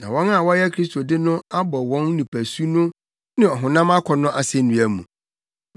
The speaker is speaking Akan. Na wɔn a wɔyɛ Kristo de no abɔ wɔn nipasu no ne honam akɔnnɔ asennua mu.